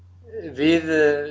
við